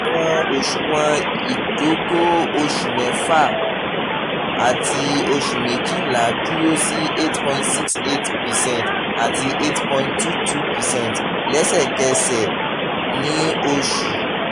àwọn oṣuwọn idogo oṣù mẹ́fà àti oṣù méjìlá dúró sí eight point six eight percent àti eight point two two percent lẹ́sẹ̀kẹsẹ̀ ní oṣù